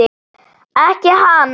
Ekki hans.